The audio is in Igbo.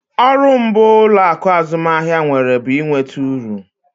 Ọrụ mbụ ụlọaku azụmahịa nwere bụ ị nweta uru